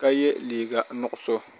ka ye liiga nuɣisɔ.